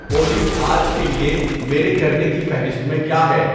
اولی آج کے لیے میرے کرنے کی فہرست میں کیا ہے